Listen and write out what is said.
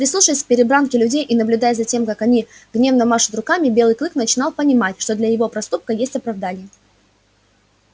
прислушиваясь к перебранке людей и наблюдая за тем как они гневно машут руками белый клык начинал понимать что для его проступка есть оправдание